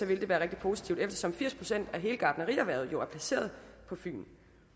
vil det være rigtig positivt eftersom firs procent af hele gartnerierhvervet jo er placeret på fyn